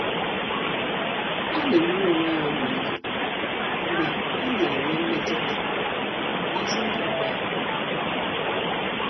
Ọ́ nà-éméré onwe ya ọmịiko mgbe ọ́ nà-ènwé mmetụta n’ázụ́ ndị ọgbọ ya.